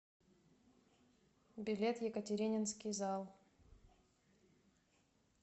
билет екатерининский зал